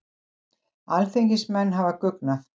Alþingismenn hafa guggnað